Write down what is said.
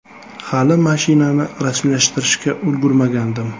“Hali mashinani rasmiylashtirishga ulgurmagandim.